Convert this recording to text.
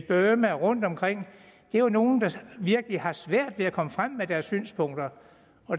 burma og rundtomkring jo er nogle der virkelig har svært ved at komme frem med deres synspunkter